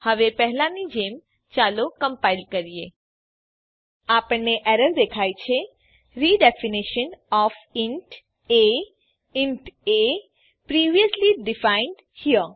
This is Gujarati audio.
હવે પહેલાની જેમ ચાલો કમ્પાઈલ કરીએ આપણને એરર દેખાય છે redefinition of int int a previously defined here